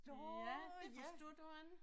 Ja det forstod du ikke